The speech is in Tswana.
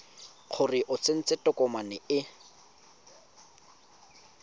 gore o tsentse tokomane e